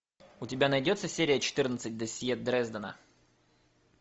у тебя найдется серия четырнадцать досье дрездена